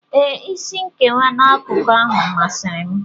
Ee, isi nkewa n'akụkụ ahụ masịrị m.